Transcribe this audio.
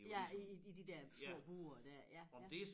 Ja i i de der små bure dér ja ja